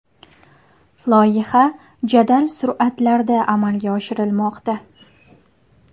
Loyiha jadal sur’atlarda amalga oshirilmoqda.